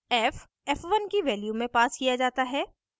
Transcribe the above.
f f1 की value में passed किया जाता है